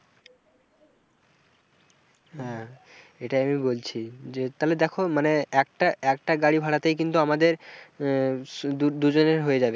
হ্যাঁ এটা আমি বলছি যে তালে দেখো মানে একটা একটা গাড়ি ভাড়াতে কিন্তু আমাদের আহ দুদুজনের হয়ে যাবে।